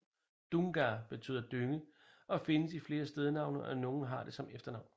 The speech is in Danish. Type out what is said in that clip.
Dunga betyder dynge og findes i flere stednavne og nogle har det som efternavn